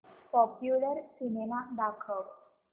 popular cinema दाखव